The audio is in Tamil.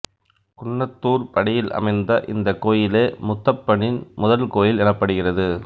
குன்னத்தூர்படியில் அமைந்த இந்தக் கோயிலே முத்தப்பனின் முதல் கோயில் எனப்படுகிறது